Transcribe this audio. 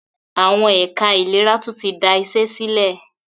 Àwọn ẹ̀ka ìlera tún tí da iṣé sílẹ̀.